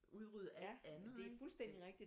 Udrydde alt andet ik